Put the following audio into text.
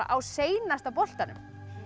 á seinasta boltanum